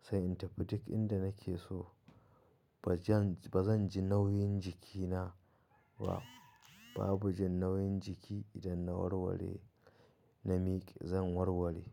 sai in tafi duk inda nake so. Ba zan, ba zan ji nauyin jikina ba. Babu jin nauyin jiki idan na warware, na mike zan warware.